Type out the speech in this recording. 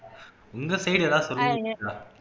உங்க side ஏதாவது சொல்லுங்க பூஜா